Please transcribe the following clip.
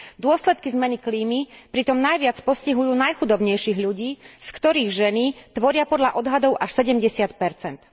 Dôsledky zmeny klímy pritom najviac postihujú najchudobnejších ľudí, z ktorých ženy tvoria podľa odhadov až 70 percent.